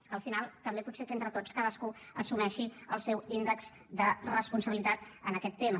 és que al final també potser que entre tots cadascú assumeixi el seu índex de responsabilitat en aquest tema